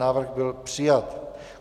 Návrh byl přijat.